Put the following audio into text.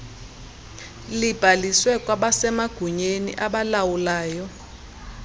libhalisiwe kwabasemagunyeni abalawulayo